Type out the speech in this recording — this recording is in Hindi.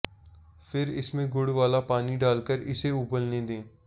फिर इसमें गुड़ वाला पानी डालकर इसे उबलने दे